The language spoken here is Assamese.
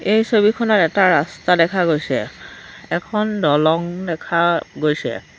এই ছবিখনত এটা ৰাস্তা দেখা গৈছে এখন দলং দেখা গৈছে।